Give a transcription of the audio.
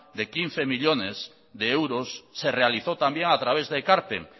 de quince millónes de euros se realizó también a través de ekarpen